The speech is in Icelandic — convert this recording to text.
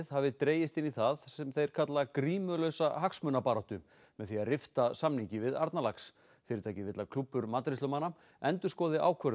hafi dregist inn í það sem þeir kalla grímulausa hagsmunabaráttu með því að rifta samningi við Arnarlax fyrirtækið vill að klúbbur matreiðslumanna endurskoði ákvörðun